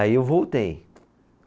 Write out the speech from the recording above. Aí eu voltei.